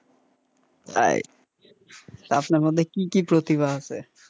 তা আপনার মধ্যে কি কি প্রতিভা আছে?